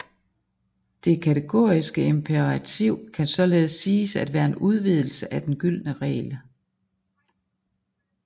Det kategoriske imperativ kan således siges at være en udvidelse af den gyldne regel